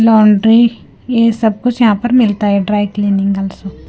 Laundry ये सब कुछ यहां पर मिलता है ड्राई क्लीनिंग अल्सो .